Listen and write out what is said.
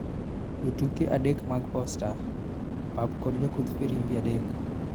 jotuke adekmag posta, pap kod jokudh firimbi adek